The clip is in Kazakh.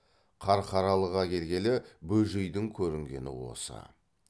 қарқаралыға келгелі бөжейдің көрінгені осы